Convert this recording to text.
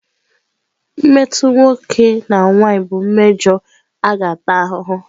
mmetọ nwoke na nwanyị bụ mmejọ a ga-ata ahụhụ.